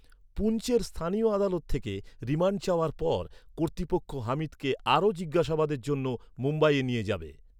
পুঞ্চের স্থানীয় আদালত থেকে রিমান্ড চাওয়ার পর, কর্তৃপক্ষ হামিদকে আরও জিজ্ঞাসাবাদের জন্য মুম্বাইয়ে নিয়ে যাবে।